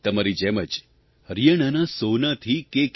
તમારી જેમ જ હરિયાણાના સોહનાથી કે